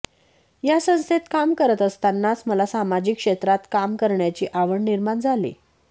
या संस्थेत काम करत असतानाच मला सामाजिक क्षेत्रात काम करण्याची आवड निर्माण झाली